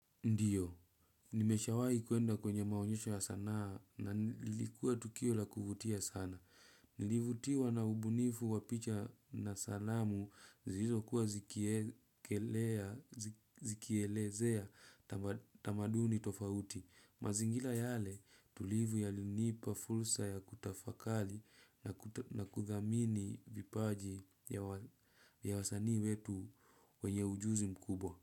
Ndiyo, nimeshawahi kuenda kwenye maonyesho ya sanaa na ilikuwa tukio la kuvutia sana. Nilivutiwa na ubunifu wa picha na salamu zilizokuwa zikielezea tamaduni tofauti. Mazingira yale tulivu yalinipa fursa ya kutafakari na kuthamini vipaji ya wasani wetu wenye ujuzi mkubwa.